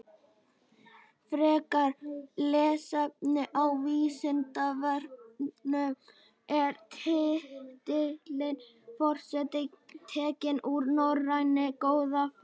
Frekara lesefni á Vísindavefnum Er titillinn forseti tekinn úr norrænni goðafræði?